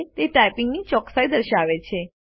તે ટાઇપિંગ ની ચોકસાઈ દર્શાવે છે